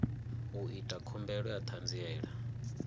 u ita khumbelo ya ṱhanziela